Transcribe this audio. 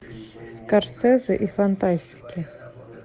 скорсезе и фантастики